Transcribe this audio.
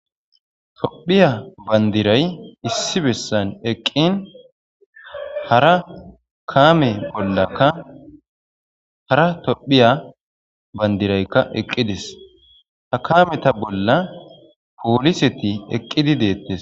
Tophphiya bandiray issi bessan eqqin hara kaame bollaka hara tophphiya bandirayka eqqides. Ha kaameta bolla pooliseti eqqidi deettees.